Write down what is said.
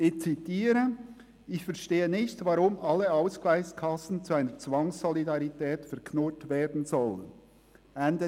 «Ich verstehe nicht, warum alle Ausgleichskassen zu einer Zwangssolidarität verknurrt werden sollen.»;